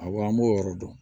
Awɔ an b'o yɔrɔ dɔn